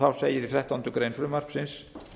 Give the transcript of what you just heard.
þá segir í þrettándu greinar frumvarpsins